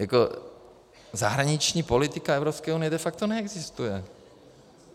Jako zahraniční politika Evropské unie de facto neexistuje.